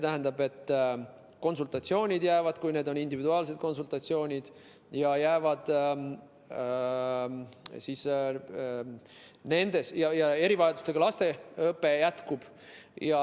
Konsultatsioonid jäävad, kui need on individuaalsed konsultatsioonid, ja erivajadustega laste õpe jätkub.